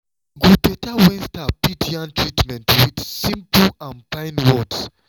e go better when staff fit yarn treatments with simple and fine words.